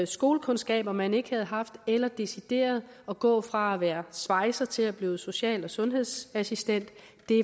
skolekundskaber man ikke havde haft eller for decideret at gå fra at være svejser til at blive social og sundhedsassistent